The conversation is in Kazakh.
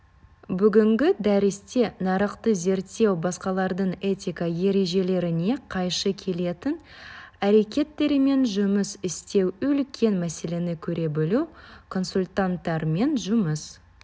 бүгінгі дәрісте нарықты зерттеу басқалардың этика ережелеріне қайшы келетін әрекеттерімен жұмыс істеу үлкен мәселені көре білу консультанттармен жұмыс